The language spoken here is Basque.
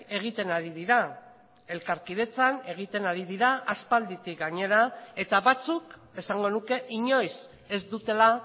egiten ari dira elkarkidetzan egiten ari dira aspalditik gainera eta batzuk esango nuke inoiz ez dutela